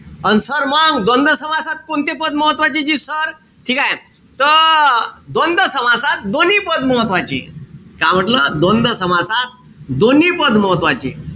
अन sir मंग द्वंद्व समासात कोणते पद महत्वाचे जी sir? ठीकेय? त द्वंद्व समासात दोन्ही पद महत्वाचे. का म्हंटल? द्वंद्व समासात दोन्ही पद महत्वाचे.